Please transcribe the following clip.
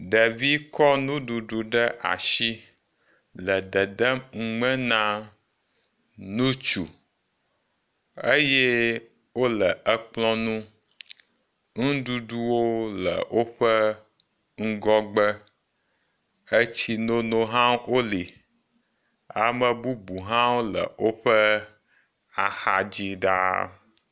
Ɖevi kɔ nuɖuɖu ɖe asi le dedem nume na ŋutsu eye wole ekplɔ̃ ŋu, nuɖuɖuwo le woƒe ŋgɔgbe, etsinono hã wole. Amebubu hã wole woƒe axadzi ɖaa.